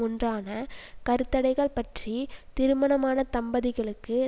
ஒன்றான கருத்தடைகள் பற்றி திருமணமான தம்பதிகளுக்கு